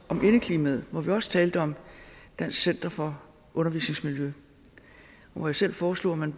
om indeklimaet hvor vi også talte om dansk center for undervisningsmiljø og hvor jeg selv foreslog at man